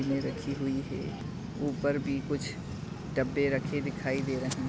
इनमे रखी हुई है उपर भी कुछ डब्बे रखे दिखाई दे रहे।